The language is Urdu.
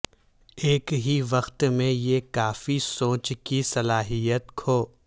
ایک ہی وقت میں یہ کافی سوچ کی صلاحیت کھو